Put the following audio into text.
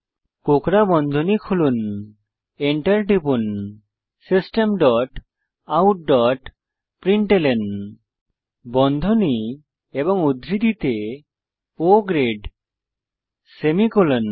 কোঁকড়া বন্ধনী খুলুন enter টিপুন system dot out dot println বন্ধনী এবং উদ্ধৃতিতে O গ্রেড সেমিকোলন